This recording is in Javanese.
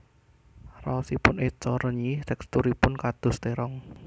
Raosipun eco renyih teksturipun kados terong